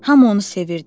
Hamı onu sevirdi.